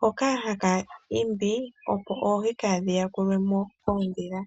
hoka haka keelele opo oohi dhaa yakulwe mo koondhila.